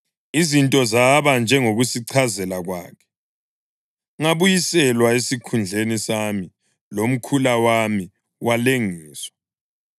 Izinto zaba njengokusichazela kwakhe: ngabuyiselwa esikhundleni sami, lomkhula wami walengiswa.”